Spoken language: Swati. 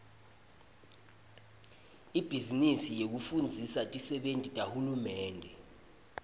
ibhizinisi yekufundzisa tisebenti tahulumende